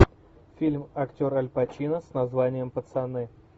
фильм актер аль пачино с названием пацаны